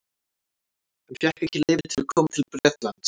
Hann fékk ekki leyfi til að koma til Bretlands.